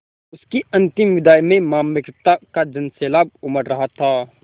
उसकी अंतिम विदाई में मार्मिकता का सैलाब उमड़ रहा था